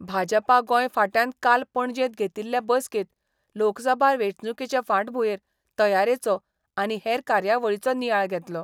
भाजपा गोंय फांट्यान काल पणजेंत घेतिल्ले बसकेंत लोकसभा वेंचणुकेचे फाटभुंयेर तयारेचो आनी हेर कार्यावळीचो नियाळ घेतलो.